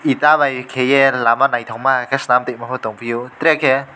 eta bai kaiye lama naitokma ke selam toima po tongpio tere ke.